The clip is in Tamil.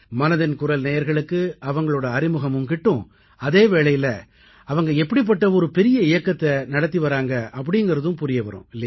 மனதின் குரல் நேயர்களுக்கு அவர்களின் அறிமுகமும் கிட்டும் அதே வேளையில் அவர்கள் எப்படிப்பட்ட ஒரு பெரிய இயக்கத்தை நடத்தி வருகிறார்கள் என்பதும் புரிய வரும்